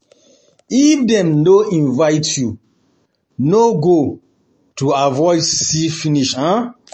If dem no invite you, no no go, to avoid see finish um